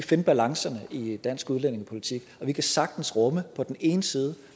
finde balancerne i dansk udlændingepolitik og vi kan sagtens rumme på den ene side